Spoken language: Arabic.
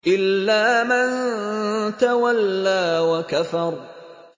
إِلَّا مَن تَوَلَّىٰ وَكَفَرَ